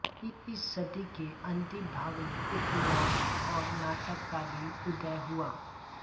इस सदी के अंतिम भाग में उपन्यास और नाटक का भी उदय हुआ